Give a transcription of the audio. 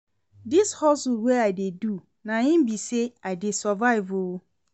Dis hustle wey I dey do, na im be sey I dey survive o.